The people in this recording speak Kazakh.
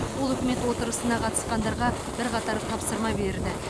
ол үкімет отырысына қатысқандарға бірқатар тапсырма берді